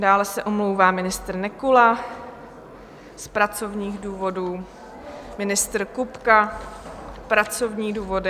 Dále se omlouvá ministr Nekula z pracovních důvodů, ministr Kupka - pracovní důvody.